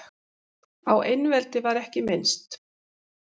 Á einveldi var ekki minnst.